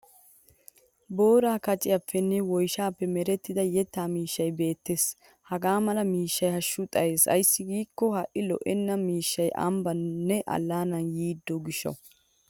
Booraa kaciyaappenne woyshshaappe merettida yettaa miishshay Bette's. Hagaa mala miishshay hashshu xayes ayssi giikko ha'i lo'iyaanne mishshay ambbaanne allaanaa yiidi gishshawu.